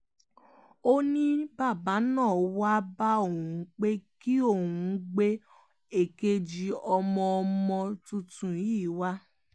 ó ní bàbá náà wáá bá òun pé kí òun gbé èkejì ọmọ ọmọ tuntun yìí wá